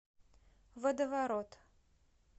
водоворот